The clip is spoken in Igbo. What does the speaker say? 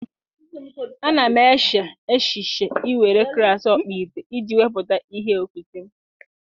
A na m eche echiche iwere klas ọkpụite iji wepụta ihe okike m!